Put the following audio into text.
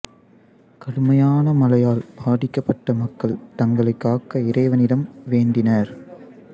கடுமையான மழையால் பாதிக்கப்பட்ட மக்கள் தங்களை காக்க இறைவனிடம் வேண்டினர்